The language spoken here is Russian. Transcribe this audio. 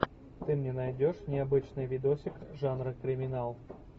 ты мне найдешь необычный видосик жанра криминал